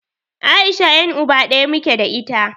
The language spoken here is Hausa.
Aisha yan'uba ɗaya muke da ita.